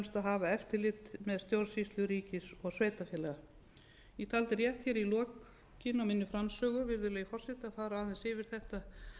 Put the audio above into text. hafa eftirlit með stjórnsýslu ríkis og sveitarfélaga ég taldi rétt hér í lokin á minni framsögu virðulegi forseti að fara aðeins yfir þetta frumvarp sem er